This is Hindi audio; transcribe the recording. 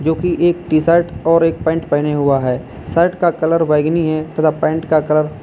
जोकि एक टी शर्ट और एक पैंट पहने हुआ है शर्ट का कलर बैंगनी है तथा पैंट का कलर --